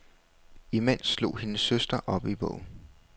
Imens slog hendes søster op i bogen.